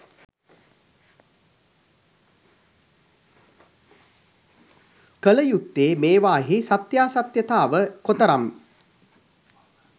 කළ යුත්තේ මේවායෙහි සත්‍යාසත්‍යතාවය කොතරම්